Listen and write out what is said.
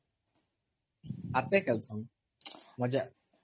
ହାତରେ ଖେଲସନ୍